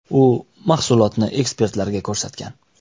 U mahsulotni ekspertlarga ko‘rsatgan.